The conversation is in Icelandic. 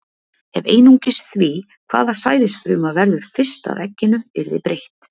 Ef einungis því, hvaða sæðisfruma verður fyrst að egginu, yrði breytt.